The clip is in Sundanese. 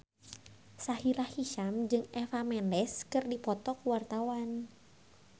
Sahila Hisyam jeung Eva Mendes keur dipoto ku wartawan